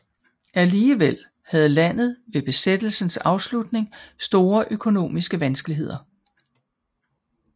Alligevel havde landet ved besættelsens afslutning store økonomiske vanskeligheder